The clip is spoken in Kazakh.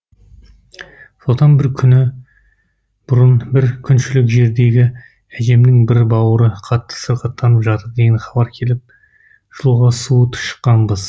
содан бір күн бұрын бір күншілік жердегі әжемнің бір бауыры қатты сырқаттанып жатыр деген хабар келіп жолға суыт шыққанбыз